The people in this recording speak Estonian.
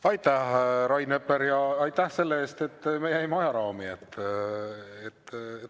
Aitäh, Rain Epler, ja aitäh selle eest, et me jäime ajaraami!